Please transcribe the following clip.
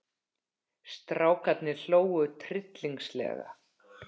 Strákarnir hlógu tryllingslega.